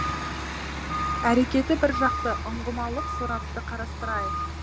әрекеті бір жақты ұңғымалық сорапты қарастырайық